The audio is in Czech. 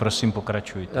Prosím, pokračujte.